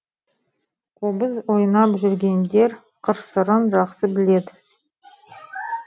қобыз ойнап жүргендер қыр сырын жақсы біледі